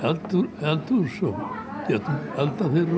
eldhús og getum eldað fyrir